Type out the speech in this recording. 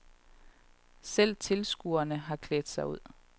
Selv tilskuerne har klædt sig ud.